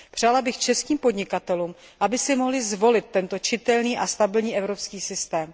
Přála bych českým podnikatelům, aby si mohli zvolit tento čitelný a stabilní evropský systém.